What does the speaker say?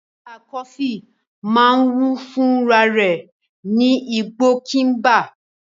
Nganda coffee máa ń wù fún rarẹ̀ ní igbó Kigimba.